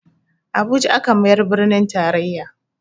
Abuja aka mayar birnin taraiya